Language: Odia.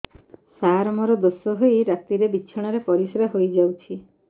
ସାର ମୋର ଦୋଷ ହୋଇ ରାତିରେ ବିଛଣାରେ ପରିସ୍ରା ହୋଇ ଯାଉଛି